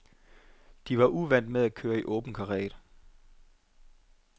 De var uvant med at køre i åben karet.